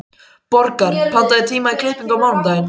Borgar, pantaðu tíma í klippingu á mánudaginn.